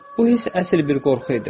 Bu hiss əsl bir qorxu idi.